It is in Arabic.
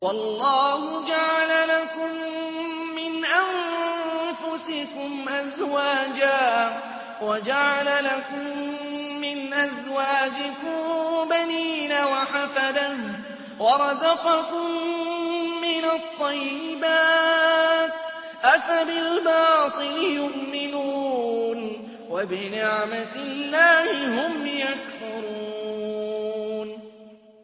وَاللَّهُ جَعَلَ لَكُم مِّنْ أَنفُسِكُمْ أَزْوَاجًا وَجَعَلَ لَكُم مِّنْ أَزْوَاجِكُم بَنِينَ وَحَفَدَةً وَرَزَقَكُم مِّنَ الطَّيِّبَاتِ ۚ أَفَبِالْبَاطِلِ يُؤْمِنُونَ وَبِنِعْمَتِ اللَّهِ هُمْ يَكْفُرُونَ